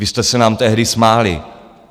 Vy jste se nám tehdy smáli.